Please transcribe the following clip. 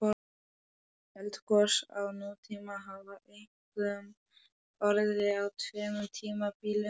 Eldgos á nútíma hafa einkum orðið á tveimur tímabilum.